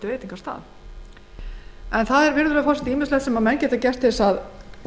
matnum en það sem menn geta gert til þess að